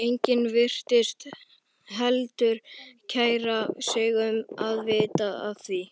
Enginn virtist heldur kæra sig um að vita af því.